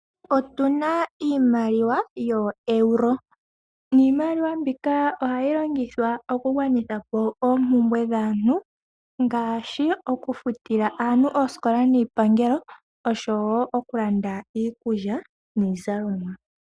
Otu na iimaliwa yoo euro niimaliwa mbika ohayi longithwa okugwanitha po oompumbwe dhaantu, ngaashi okufutila aantu oosikola niipangelo oshowo okulanda iikulya niizalonwa.